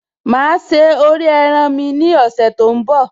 Máa se orí ẹran mi ní ọ̀sẹ̀ tó ń bọ̀